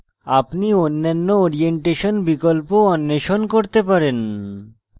আপনি অন্যান্য orientation বিকল্প অন্বেষণ করতে পারেন